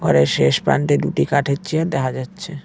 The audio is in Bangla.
ঘরের শেষ প্রান্তে দুটি কাঠের চেয়ার দেখা যাচ্ছে।